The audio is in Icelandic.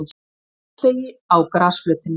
Álstigi á grasflötinni.